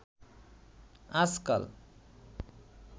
আজকাল